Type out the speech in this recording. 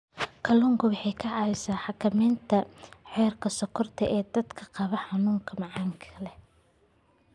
Kalluunku waxa uu caawiyaa xakamaynta heerka sonkorta ee dadka qaba xanuunka macaanka.